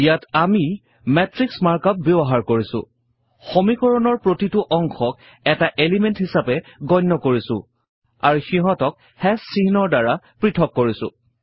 ইয়াত আমি matrix markup ব্যৱহাৰ কৰিছো সমীকৰণৰ প্ৰতিটো অংশক এটা এলিমেণ্ট হিছাপে গণ্য কৰিছো আৰু সিহঁতক চিহ্নৰ দ্বাৰা পৄথক কৰিছো